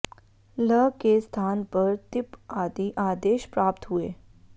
ल् के स्थान पर तिप् आदि आदेश प्राप्त हुए